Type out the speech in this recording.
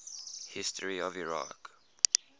history of iraq